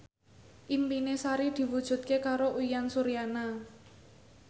impine Sari diwujudke karo Uyan Suryana